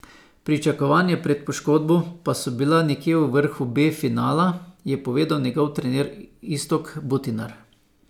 Pričakovanja pred poškodbo pa so bila nekje v vrhu B finala, je povedal njegov trener Iztok Butinar.